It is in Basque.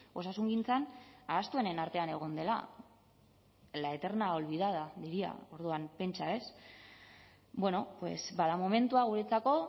osasungintzan ahaztuenen artean egon dela la eterna olvidada diría orduan pentsa ez bueno pues bada momentua guretzako